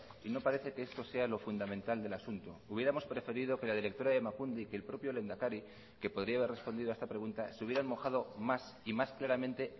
y no parece que esto sea lo fundamental del asunto hubiéramos preferido que la directora de emakunde y que el propio lehendakari que podría haber respondido a esta pregunta se hubieran mojado más y más claramente